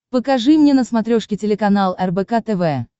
покажи мне на смотрешке телеканал рбк тв